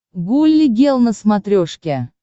гулли гел на смотрешке